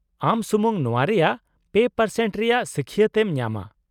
ᱟᱢ ᱥᱩᱢᱩᱝ ᱱᱚᱶᱟ ᱨᱮᱭᱟᱜ ᱓% ᱨᱮᱭᱟᱜ ᱥᱟᱹᱠᱷᱭᱟᱹᱛ ᱮᱢ ᱧᱟᱢᱟ ᱾